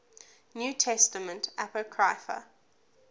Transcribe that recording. new testament apocrypha